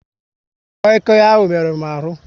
Koi Koi ahụ merụrụ m ahu